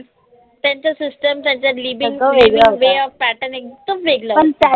त्यांचा system त्यांचा living living way of pattern एकदम वेगळा होता